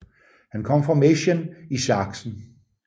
Han kom fra Meissen i Sachsen